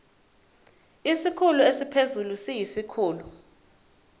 isikhulu esiphezulu siyisikhulu